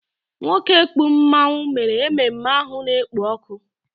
Nwoke kpụ mmanwu mere ememme ahụ na-ekpo ọkụ